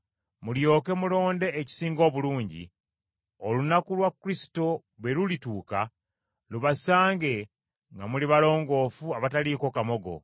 mulyoke mulonde ekisinga obulungi, olunaku lwa Kristo bwe lulituuka lubasange nga muli balongoofu abataliiko kamogo,